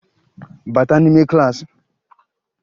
Bata n'ime klaasị!